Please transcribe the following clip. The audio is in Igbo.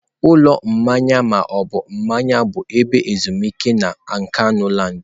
Ụlọ mmanya ma ọ bụ mmanya bụ ebe ezumike na Nkanuland.